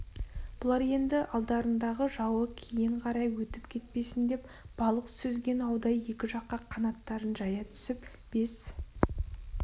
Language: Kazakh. бұлар енді алдарындағы жауы кейін қарай өтіп кетпесін деп балық сүзген аудай екі жаққа қанаттарын жая түсіп бес